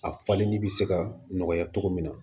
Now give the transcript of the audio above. A falenni bɛ se ka nɔgɔya cogo min na